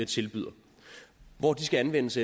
tilbyder hvor de skal anvendes